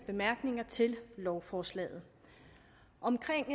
bemærkninger til lovforslaget omkring